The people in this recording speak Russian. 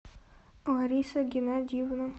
лариса геннадьевна